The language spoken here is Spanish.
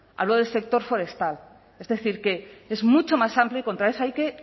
hablo del sector forestal es decir que es mucho más amplio y contra eso hay que